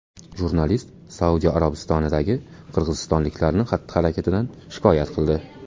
Jurnalist Saudiya Arabistonidagi qirg‘izistonliklarning xatti-harakatidan shikoyat qildi.